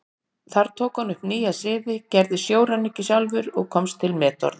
Þar tók hann upp nýja siði, gerist sjóræningi sjálfur og komst til metorða.